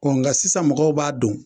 nga sisan mɔgɔw b'a don.